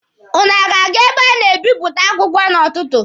Ụnụ ọ ga-aga ebe a na-ebịpụta akwụkwọ n'ụtụtụ?